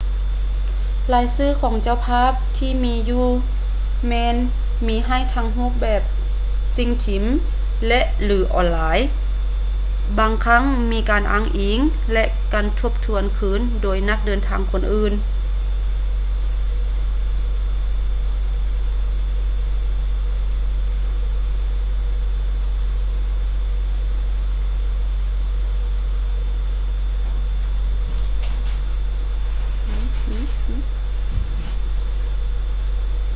ລາຍຊື່ຂອງເຈົ້າພາບທີ່ມີຢູ່ແມ່ນມີໃຫ້ທັງໃນຮູບແບບສິ່ງພິມ ແລະ/ຫຼື ອອນລາຍ ບາງຄັ້ງມີການອ້າງອິງ ແລະ ການທົບທວນຄືນໂດຍນັກເດີນທາງຄົນອື່ນ